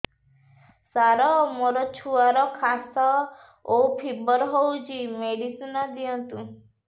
ସାର ମୋର ଛୁଆର ଖାସ ଓ ଫିବର ହଉଚି ମେଡିସିନ ଦିଅନ୍ତୁ